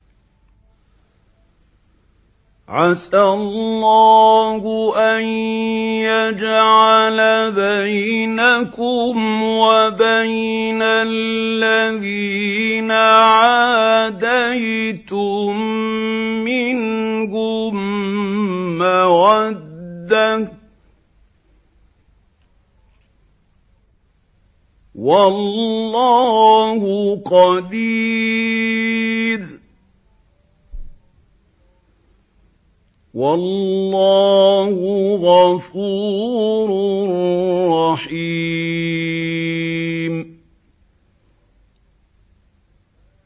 ۞ عَسَى اللَّهُ أَن يَجْعَلَ بَيْنَكُمْ وَبَيْنَ الَّذِينَ عَادَيْتُم مِّنْهُم مَّوَدَّةً ۚ وَاللَّهُ قَدِيرٌ ۚ وَاللَّهُ غَفُورٌ رَّحِيمٌ